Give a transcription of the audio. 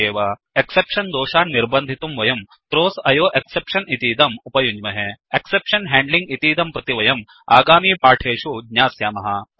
exception दोषान् निर्बन्धितुं वयं थ्राव्स आयोएक्सेप्शन थ्रोस् एक्सेप्शन् इतीदम् उपयुञ्ज्महे एक्सेप्शन हैंडलिंग एक्सेप्शन् हेण्ड्लिङ्ग् इतीदं प्रति वयम् आगामी पाठेषु ज्ञास्यामः